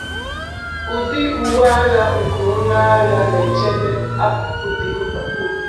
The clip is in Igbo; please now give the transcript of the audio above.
Ụdị uwe agha nke onye agha nke onye agha na-echebe akụkụ dị mkpa, obi.